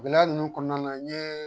Gɛlɛya ninnu kɔnɔna na n ɲe